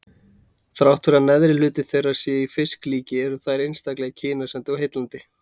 Þrátt fyrir að neðri hluti þeirra sé í fisklíki eru þær einstaklega kynæsandi og heillandi.